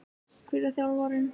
Hver var þjálfarinn?